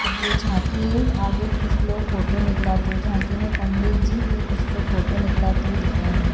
अब ये झांकी है आगे कुछ लोग फोटो निकलाते हुए झांकी में पंडित जी और कुछ लोग फोटो निकलाते हुए दिख रहे हैं।